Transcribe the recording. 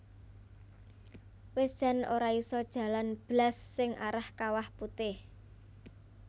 Wis jan ora iso jalan blas sing arah Kawah Putih